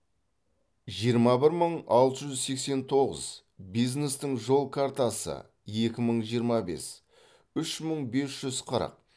жиырма бір мың алты жүз сексен тоғыз бизнестің жол картасы екі мың жиырма бес үш мың бес жүз қырық